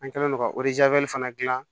An kɛlen don ka fana dilan